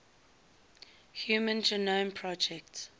human genome project